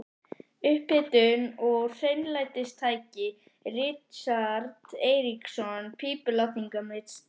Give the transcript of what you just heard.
Upphitun og hreinlætistæki: Richard Eiríksson, pípulagningameistari.